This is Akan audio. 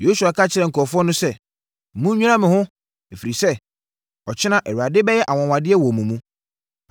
Yosua ka kyerɛɛ nkurɔfoɔ no sɛ, “Monnwira mo ho, ɛfiri sɛ, ɔkyena Awurade bɛyɛ anwanwadeɛ wɔ mo mu.”